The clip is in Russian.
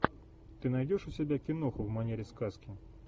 ты найдешь у себя киноху в манере сказки